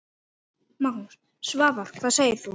Magnús: Svavar, hvað segir þú?